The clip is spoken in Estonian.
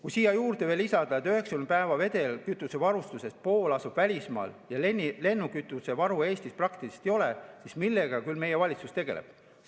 Kui siia juurde lisada, et 90 päeva vedelkütusevarust pool asub välismaal ja lennukikütusevaru Eestis praktiliselt ei ole, siis, millega küll meie valitsus tegeleb.